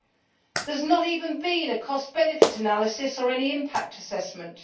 there has not even been a cost benefit analysis or any impact assessment'.